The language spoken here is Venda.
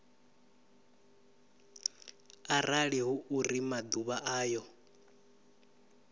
arali hu uri maḓuvha ayo